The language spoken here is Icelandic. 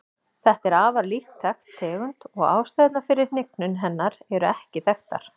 Þetta er afar lítt þekkt tegund og ástæðurnar fyrir hnignun hennar eru ekki þekktar.